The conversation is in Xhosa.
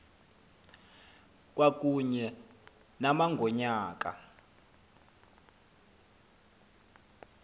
kwakunye nama ngonyaka